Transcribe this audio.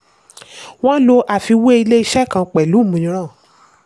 wọ́n lò fún àfiwé ilé-iṣẹ́ kan pẹ̀lú mìíràn.